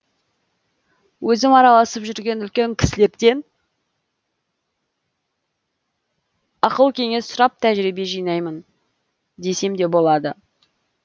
өзім араласып жүрген үлкен кісілерден ақыл кеңес сұрап тәжірбие жинаймын десем де болады